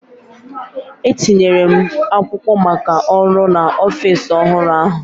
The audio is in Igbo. Etinyere m akwụkwọ maka ọrụ n’ọfịs ọhụrụ ahụ